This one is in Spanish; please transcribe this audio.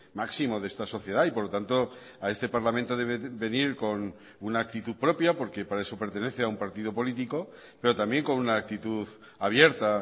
máximo de esta sociedad y por lo tanto a este parlamento debe venir con una actitud propia porque para eso pertenece a un partido político pero también con una actitud abierta